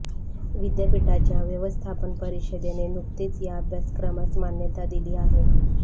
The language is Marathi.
विद्यापीठाच्या व्यवस्थापन परिषदेने नुकतेच या अभ्यासक्रमास मान्यता दिली आहे